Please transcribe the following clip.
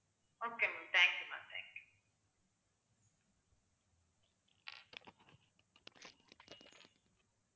okay ma'am thank you ma'am thank you